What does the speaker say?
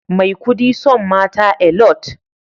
Maikudi son mata Alot